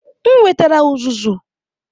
M wetara uzuzu.